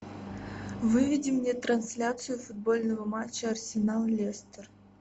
выведи мне трансляцию футбольного матча арсенал лестер